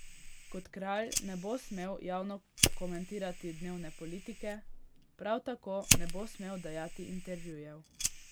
Kot kralj ne bo smel javno komentirati dnevne politike, prav tako ne bo smel dajati intervjujev.